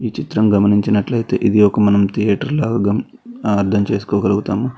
చిత్రం గమనించినట్లయితే ఇది ఒక మనం థియేటర్ లాగ అర్ధం చేసుకోగలుగుతాము.